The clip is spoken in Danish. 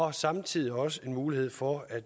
er samtidig også en mulighed for at